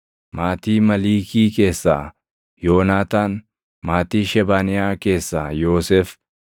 maatii Maliikii keessaa Yoonaataan; maatii Shebaniyaa keessaa Yoosef;